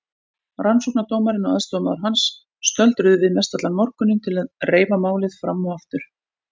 Rannsóknardómarinn og aðstoðarmaður hans stöldruðu við mestallan morguninn til að reifa málið fram og aftur.